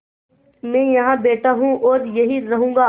मैं यहाँ बैठा हूँ और यहीं रहूँगा